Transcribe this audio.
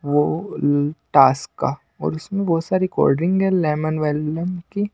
वो अ टास्क का और उसमें बहुत सारी कोल्ड ड्रिंक है लेमन वेमन की--